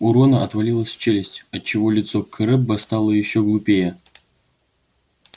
у рона отвалилась челюсть отчего лицо крэбба стало ещё глупее